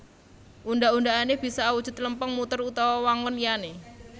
Undhak undhakan bisa awujud lempeng muter utawa wangun liyané